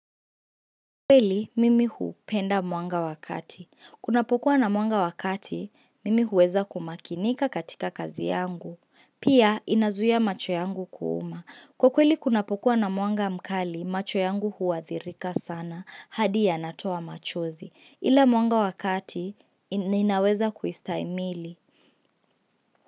Kwa kweli, mimi hupenda mwanga wa kati. Kunapokuwa na mwanga wa kati, mimi huweza kumakinika katika kazi yangu. Pia, inazuia macho yangu kuuma. Kwa kweli, kunapokuwa na mwanga mkali, macho yangu huathirika sana. Hadi yanatoa machozi. Ila mwanga wakati, ninaweza kuistahimili.